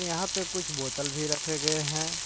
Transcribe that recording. यहाँ पे कुछ बोतल भी रखे गए हैं।